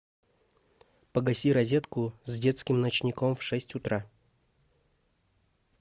погаси розетку с детским ночником в шесть утра